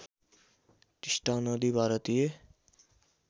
टिस्टा नदी भारतीय